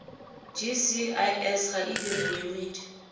gcis ga e dire boemedi